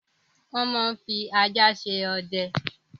Wọ́n máa ń fi ajá ṣe ọdẹ.